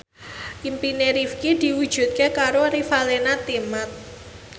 impine Rifqi diwujudke karo Revalina Temat